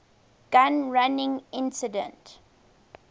gun running incident